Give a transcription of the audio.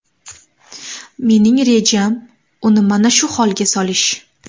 Mening rejam uni mana shu holga solish.